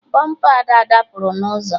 Bọmpa Ada dapụrụ na ụzọ